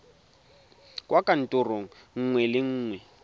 kwa kantorong nngwe le nngwe